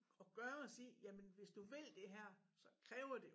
At gøre og sige jamen hvis du vil det her så kræver det jo